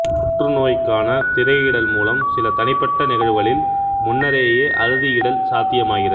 புற்றுநோய்க்கான திரையிடல் மூலம் சில தனிப்பட்ட நிகழ்வுகளில் முன்னரேயே அறுதியிடல் சாத்தியமாகிறது